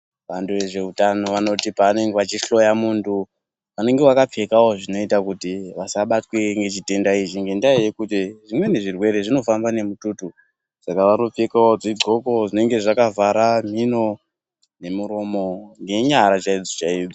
Vantu ve zveutano vanoti pavanenge vachi hloya muntu vanenge vaka pfekawo zvinoita kuti vasa batwe ngechitenda ichi ngenda yekuti zvimweni zvirwere zvinofamba ne mututu saka vano pfekawo dzi ndxoko zvinenge zvakavhara miro ne muromo nge nyara chaidzo chaidzo.